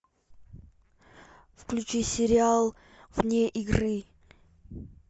включи сериал вне игры